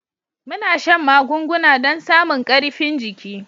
Muna shan magunguna don samun karifin jiki.